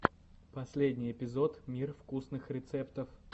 последний эпизод мир вкусных рецептов